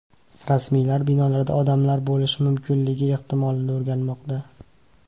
Rasmiylar binolarda odamlar bo‘lishi mumkinligi ehtimolini o‘rganmoqda.